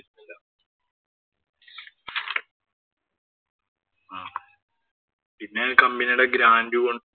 പിന്നെ ആ company യുടെ grand ഉം ഒണ്ട്